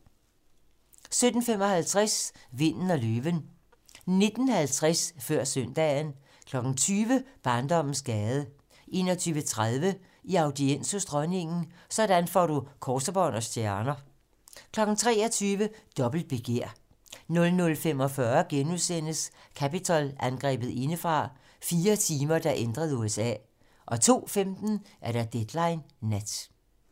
17:55: Vinden og løven 19:50: Før søndagen 20:00: Barndommens gade 21:30: I audiens hos dronningen - sådan får du kors, bånd og stjerner 23:00: Dobbelt begær 00:45: Capitol-angrebet indefra: Fire timer, der ændrede USA * 02:15: Deadline nat